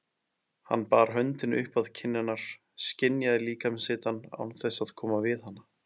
Hann bar höndina upp að kinn hennar, skynjaði líkamshitann án þess að koma við hana.